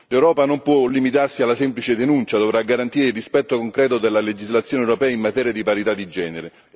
L'Europa non può limitarsi alla semplice denuncia, dovrà garantire il rispetto concreto della legislazione europea in materia di parità di genere.